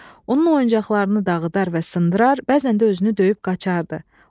Onun oyuncaqlarını dağıdar və sındırar, bəzən də özünü döyüb qaçardı.